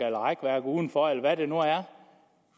eller rækværk udenfor eller hvad det nu er